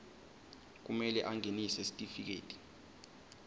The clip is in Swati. kumele angenise sitifiketi